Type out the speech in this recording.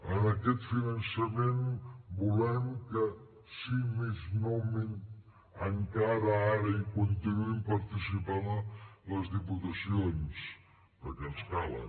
en aquest finançament volem que si més no encara ara hi continuïn participant les diputacions perquè ens calen